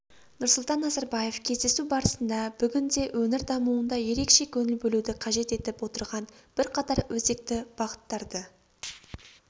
нұрсұлтан назарбаев кездесу барысында бүгінде өңір дамуында ерекше көңіл бөлуді қажет етіп отырған бірқатар өзекті бағыттарды